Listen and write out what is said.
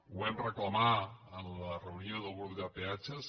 ho vam reclamar en la reunió del grup de peatges